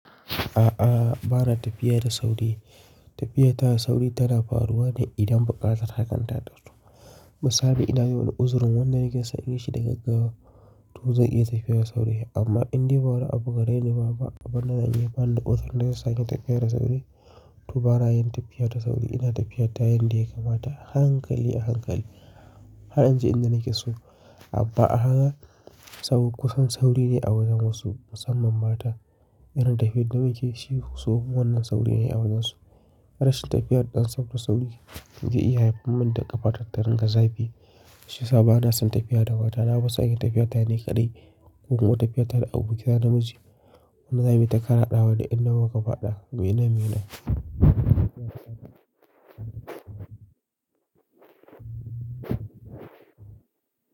A'a, ba na tafiya da sauri. Tafiya ta da sauri tana faruwa ne idan buƙatar hakanta ta fito. Misali, ina yi wani uzurin wanda nake son in yi shi da gaggawa, to zan iya tafiya da sauri. Amma in dai ba wani abu gare ni ba, ba abin da zan iya bani da tsaro na za su sanya tafiya da sauri, to ba na yin tafiya da sauri. Ina tafiya ta yanda ya kamata, hankali a hankali. Har in ji inda nake so. Amma a haka, sab kusan sauri ne a wajen wasu, musamman mata. Irin tafiya da nakeyi shi su kuma wannan sauri ne a wajen su. Rashin tafiyar ɗan samfur sauri zai iya haifarman da ƙafata ta dunga gaza fi. Shiyasa ba na son tafiya da mata. Na fi son in yi tafiya ta ni kaɗai ko kuma tafiya ta da abokina namiji. Wannan mu yi ta faɗawa duk inda muka faɗa. Muyi nan, muyi nan.